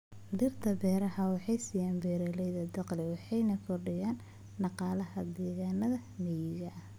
Dhirta beeraha waxay siiyaan beeraleyda dakhli waxayna kordhiyaan dhaqaalaha deegaannada miyiga.